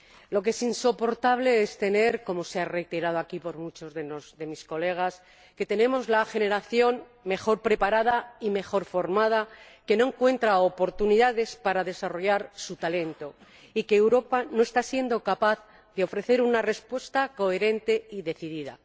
Lo que es insoportable es como han reiterado aquí muchos de mis colegas que tengamos la generación mejor preparada y mejor formada, que no encuentra oportunidades para desarrollar su talento, y que Europa no sea capaz de ofrecer una respuesta coherente y decidida.